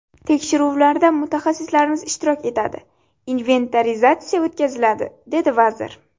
Tekshiruvlarda mutaxassislarimiz ishtirok etadi, inventarizatsiya o‘tkaziladi”, dedi vazir.